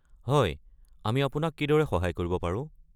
হয়, আমি আপোনাক কিদৰে সহায় কৰিব পাৰোঁ?